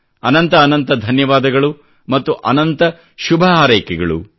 ಅನಂತ ಅನಂತ ಧನ್ಯವಾದಗಳು ಮತ್ತು ಅನಂತ ಶುಭಹಾರೈಕೆಗಳು